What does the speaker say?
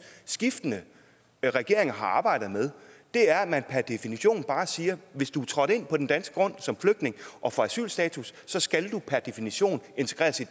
skiftende regeringer har arbejdet med er at man per definition bare siger hvis du er trådt ind på dansk grund som flygtning og får asylstatus skal du per definition integreres i